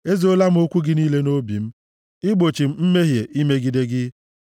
Ezoola m okwu gị niile nʼobi m, igbochi m imehie imegide gị.